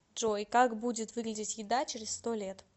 джой как будет выглядеть еда через сто лет